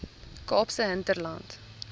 kaapse hinterland